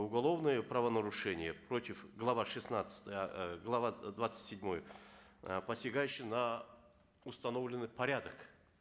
уголовное правонарушение против глава шестнадцать э глава двадцать седьмой э посягающей на установленный порядок